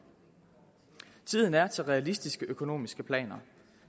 tiden er til realistiske økonomiske planer